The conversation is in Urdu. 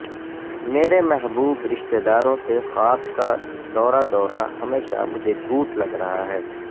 میرے محبوب رشتہ داروں سے خواب کا دورہ دورہ ہمیشہ مجھے جھوٹ لگ رہا ہے